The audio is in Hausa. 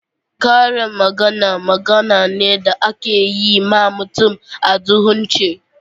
Karin magana, magana ne da ake yi ma mutum a duhunce.